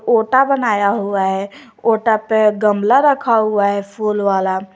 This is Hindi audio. ओटा बनाया हुआ है ओटा पे गमला रखा हुआ है फूल वाला।